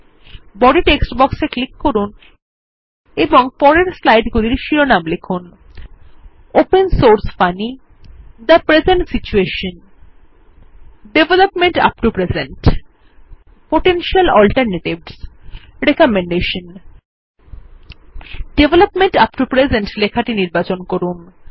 body text বক্সে click করুন এবং পরের স্লাইড গুলির শিরোনামগুলি লিখুন160 ওপেন সোর্স funnyথে present situation development up to presentপোটেনশিয়াল alternatives recommendation development up to present লেখাটি নির্বাচন করুন